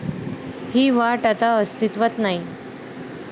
हि वाट आता अस्तित्वात नाही.